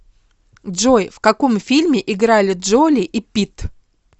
джой в каком фильме играли джоли и питт